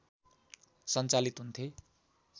सञ्चालित हुन्थे